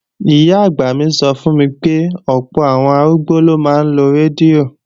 Ìyá-àgbà mi sọ fún mi pé, ọ̀pọ̀ àwọn arúgbó ló máa ń lo rédíò